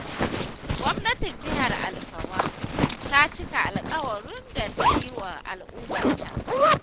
Gwamnatin Jihar Alfawa ta cika alƙawuran da ta yi wa al'ummarta.